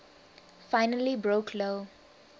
finally broke lou